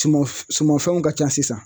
Suman sumanfɛnw ka ca sisan